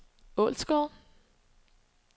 Ålsgårde